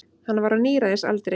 Hann var á níræðisaldri.